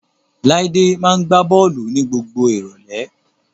Láídé máa gbá bọ́ọ̀lù ní gbogbo ìrọ̀lẹ́